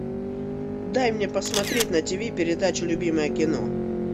дай мне посмотреть на ти ви передачу любимое кино